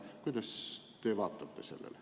Kuidas te sellele vaatate?